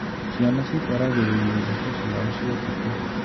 Ciana cikwaragĩrĩria iroto ciao cia ũtukũ.